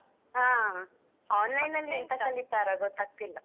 ಹಾ online ನಲ್ಲಿ ಎಂತ ಕಳೀತಾರ ಗೊತ್ತಾಗ್ತಿಲ್ಲ.